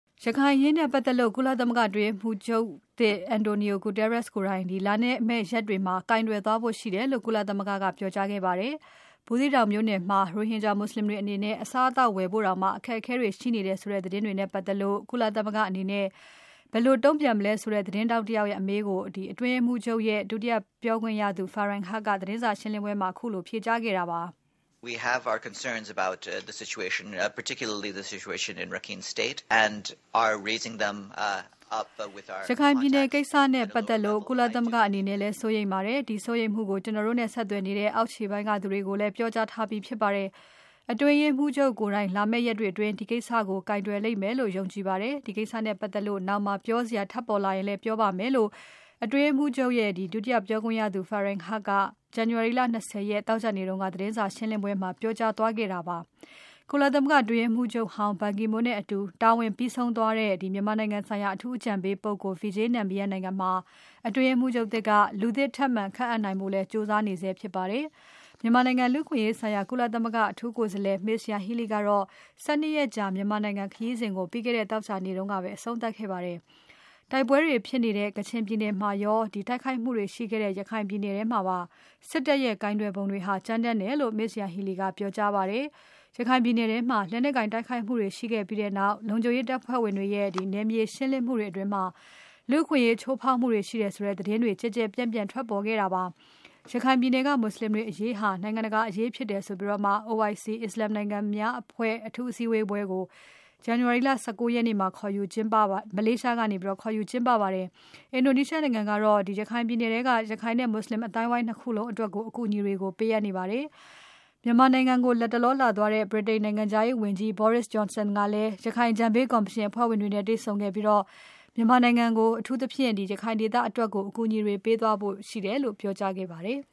ရခိုင်အရေးနဲ့ပတ်သက်လို့ ကုလသမဂ္ဂအတွင်းရေးမှူးချုပ် António Guterres ကိုယ်တိုင် လာမယ့်ရက်တွေမှာ ကိုင်တွယ်သွားဖို့ရှိတယ်လို့ ကုလမဂ္ဂက ပြောကြားခဲ့ပါတယ်။ ဘူးသီးတောင်မြို့နယ်မှာ ရိုဟင်ဂျာမွတ်ဆလင်တွေအနေနဲ့ အစားအသောက်တွေဝယ်ဖို့တောင် အခက်အခဲတွေရှိနေတယ်ဆိုတဲ့ သတင်းတွေနဲ့ပါတ်သက်လို့ ကုလသမဂ္ဂအနေနဲ့ ဘယ်လိုတုံ့ပြန်မလဲဆိုတဲ့ သတင်းထောက်တယောက်ရဲ့ အမေးကို အတွင်းရေးမှူးချုပ်ရဲ့ ဒုတိယပြောခွင့်ရသူ Farhan Haq ကခုလို ဖြေကြားခဲ့ပါတယ်။ "ရခိုင်ပြည်နယ်ကိစ္စနဲ့ပါတ်သက်လို့ ကုလသမဂ္ဂအနေနဲ့လည်း စိုးရိမ်ပါတယ်။ ဒီစိုးရိမ်မှုတွေကို ကျွန်တော်တို့နဲ့ ဆက်သွယ်နေတဲ့ အောက်ခြေပိုင်းက သူတွေကို ပြောကြားထားပြီးဖြစ်ပါတယ်။ အတွင်းရေးမှူးချုပ်ကိုယ်တိုင် လာမယ့်ရက်တွေအတွင်း ဒီကိစ္စကို ကိုင်တွယ်လိမ့်မယ်လို့ ကျွန်တော်ယုံကြည်ပါတယ်။ ဒီကိစ္စနဲ့ပါတ်သက်လို့ နောင်မှာ ပြောစရာထပ်ပေါ်လာရင် ပြောပါ့မယ်" လို့ အတွင်းရေးမှူးချုပ်ရဲ့ ဒုတိယပြောခွင့်ရသူ Farhan Haq က January လ ၂၀ ရက်နေ့ သောကြာနေ့က သတင်းစာရှင်းပွဲအတွင်းမှာ ပြောကြားခဲ့တာဖြစ်ပါတယ်။ ကုလသမဂ္ဂအတွင်းရေးမှူးချုပ်ဟောင်း ဘန်ကီမွန်းနဲ့အတူ တာဝန်ပြီးဆုံးသွားတဲ့ မြန်မာနိုင်ငံဆိုင်ရာ အထူးအကြံပေးပုဂ္ဂိုလ် Vijay Nambiar နေရာမှာ အတွင်းရေးမှုးချုပ်သစ်က လူသစ်ထပ်မံ ခန့်အပ်နိုင်ဖို့ ကြိုးစားနေဆဲဖြစ်ပါတယ်။ မြန်မာနိုင်ငံ လူ့အခွင့်အရေးဆိုင်ရာ ကုလသမဂ္ဂ အထူးကိုယ်စားလှယ် Ms. Yanghee Lee ကတော့ ၁၂ ရက်ကြာ မြန်မာနိုင်ငံခရီးစဉ်ကို ပြီးခဲ့တဲ့ သောကြာနေ့ကပဲ အဆုံးသတ်ခဲ့ပါတယ်။ တိုက်ပွဲတွေဖြစ်နေတဲ့ ကချင်ပြည်နယ်မှာရော၊ တိုက်ခိုက်မှုတွေရှိခဲ့တဲ့ ရခိုင်ပြည်နယ်မှာပါ စစ်တပ်ရဲ့ ကိုင်တွယ်ပုံတွေဟာ ကြမ်းတမ်းတယ်လို့ Ms. Yanghee Lee ကပြောကြားပါတယ်။ ရခိုင်ပြည်နယ်ထဲမှာ လက်နက်ကိုင်တိုက်ခိုက်မှုတွေရှိခဲ့ပြီးနောက် လုံခြုံရေးတပ်ဖွဲ့ဝင်တွေရဲ့ နယ်မြေရှင်းလင်းမှုတွေအတွင်း လူ့အခွင့်အရေးချိုးဖောက်မှုတွေရှိတယ်ဆိုတဲ့ သတင်းတွေ ကျယ်ကျယ်ပြန့်ပြန့် ထွက်ပေါ်ခဲ့ပါတယ်။ ရခိုင်ပြည်နယ်က မွတ်ဆလင်တွေအရေးဟာ နိုင်ငံတကာအရေး ဖြစ်တယ်ဆိုပြီး OIC (အစ္စလမ်နိုင်ငံများအဖွဲ့) အထူးအစည်းကို ဇန်နဝါရီ ၁၉ ရက်နေ့က ခေါ်ယူကျင်းပခဲ့ပါတယ်။ အင်ဒိုနီးရှားနိုင်ငံကတော့ ရခိုင်ပြည်နယ်ထဲက ရခိုင်နဲ့ မွတ်ဆလင်အသိုင်းအဝိုင်း ၂ ခုလုံးအတွက် အကူအညီတွေ ပေးအပ်ခဲ့ပါတယ်။ မြန်မာနိုင်ငံကို လတ်တလောလာသွားတဲ့ ဗြိတိန်နိုင်ငံခြားရေးဝန်ကြီး Boris Johnson ကလည်း ရခိုင်အကြံပေးကော်မရှင် အဖွဲ့ဝင်တွေနဲ့ တွေ့ဆုံခဲ့ပြီး မြန်မာနိုင်ငံကို အထူးသဖြင့် ရခိုင်ဒေသအတွက် အကူအညီတွေပေးသွားဖို့ ရှိတယ်လို့ ပြောဆိုခဲ့ပါတယ်။